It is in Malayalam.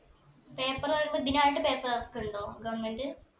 paper പറീന്നെ ഇതിനായിട്ട് paper ഇറക്കുണ്ടോ government